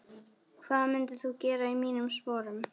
hvað myndir þú gera í mínum sporum?